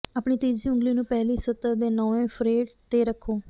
ਆਪਣੀ ਤੀਜੀ ਉਂਗਲੀ ਨੂੰ ਪਹਿਲੀ ਸਤਰ ਦੇ ਨੌਵੇਂ ਫਰੇਟ ਤੇ ਰੱਖੋ